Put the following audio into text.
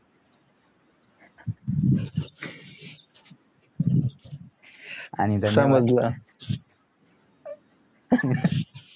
आणि